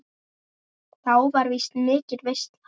Þá var víst mikil veisla.